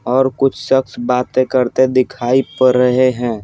और कुछ शख्स बातें करते दिखाईपड़ रहे हैं ।